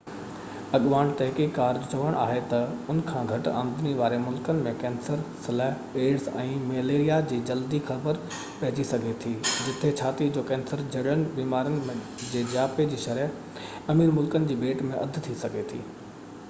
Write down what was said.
اڳواڻ تحقيق ڪار جو چوڻ آهي تہ ان کان گهٽ آمدني واري ملڪن ۾ ڪينسر سلهہ ايڊز ۽ مليريا جي جلدي خبر پئجي سگهي ٿي جتي ڇاتي جو ڪينسر جهڙين بيمارين جي جياپي جي شرح امير ملڪن جي ڀيٽ ۾ اڌ ٿي سگهي ٿي